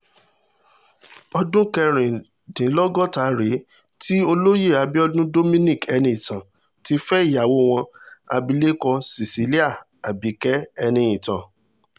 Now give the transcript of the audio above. ọdún kẹrìndínlọ́gọ́ta rèé tí olóyè abiodun dominic eniitan ti fẹ́ ìyàwó wọn abilékọ cecilia abike eniitan